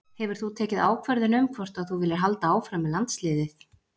Hefur þú tekið ákvörðun um hvort að þú viljir halda áfram með landsliðið?